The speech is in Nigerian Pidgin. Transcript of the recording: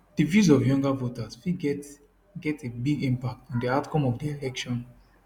di views of younger voters fit get get a big impact on di outcome of di election